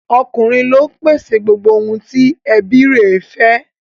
Ọkùnrin ló ń pèsè gbogbo ohun tí ẹbí i rẹ̀ fẹ́